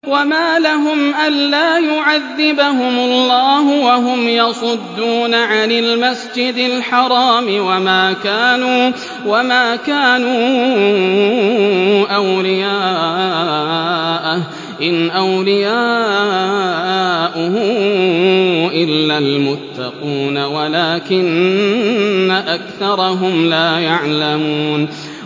وَمَا لَهُمْ أَلَّا يُعَذِّبَهُمُ اللَّهُ وَهُمْ يَصُدُّونَ عَنِ الْمَسْجِدِ الْحَرَامِ وَمَا كَانُوا أَوْلِيَاءَهُ ۚ إِنْ أَوْلِيَاؤُهُ إِلَّا الْمُتَّقُونَ وَلَٰكِنَّ أَكْثَرَهُمْ لَا يَعْلَمُونَ